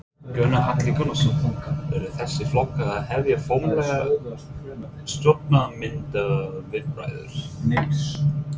Gunnar Atli Gunnarsson: Eru þessir flokkar að hefja formlegar stjórnarmyndunarviðræður?